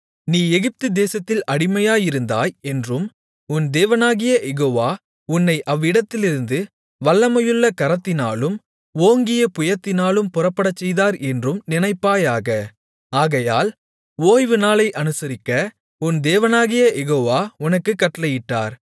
நீ எகிப்து தேசத்தில் அடிமையாயிருந்தாய் என்றும் உன் தேவனாகிய யெகோவா உன்னை அவ்விடத்திலிருந்து வல்லமையுள்ள கரத்தினாலும் ஓங்கிய புயத்தினாலும் புறப்படச்செய்தார் என்றும் நினைப்பாயாக ஆகையால் ஓய்வு நாளை அனுசரிக்க உன் தேவனாகிய யெகோவா உனக்குக் கட்டளையிட்டார்